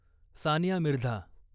Sania Mirza